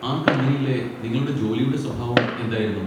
ആ കമ്പനിയിലെ നിങ്ങളുടെ ജോലിയുടെ സ്വഭാവം എന്തായിരുന്നു?